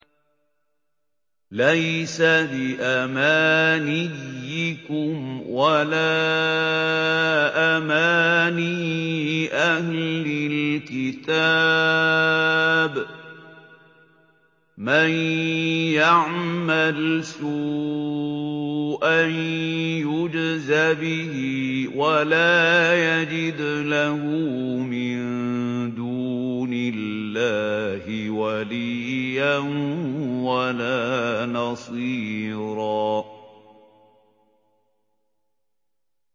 لَّيْسَ بِأَمَانِيِّكُمْ وَلَا أَمَانِيِّ أَهْلِ الْكِتَابِ ۗ مَن يَعْمَلْ سُوءًا يُجْزَ بِهِ وَلَا يَجِدْ لَهُ مِن دُونِ اللَّهِ وَلِيًّا وَلَا نَصِيرًا